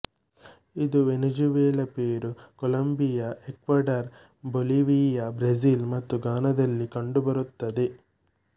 ಇದು Venezuela Peru Colombia Ecuador Bolivia Brazil ಮತ್ತು ಗಾನದಲ್ಲಿ ಕಂಡುಬರುತ್ತದೆ